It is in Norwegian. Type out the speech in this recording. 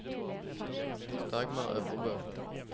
Dagmar Øvrebø